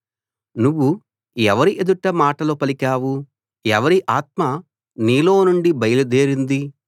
నువ్వు ఎవరి ఎదుట మాటలు పలికావు ఎవరి ఆత్మ నీలోనుండి బయలుదేరింది